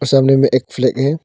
सामने में एक फ्लैग है।